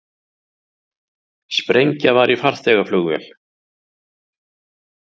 Sprengja var í farþegavél